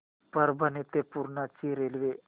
परभणी ते पूर्णा ची रेल्वे